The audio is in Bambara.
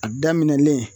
A daminɛlen